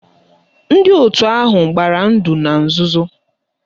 Ndị otu ahụ gbara ndụ na nzuzo